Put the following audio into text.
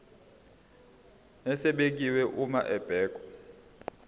esibekiwe uma kubhekwa